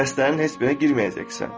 Dərslərin heç birinə girməyəcəksən.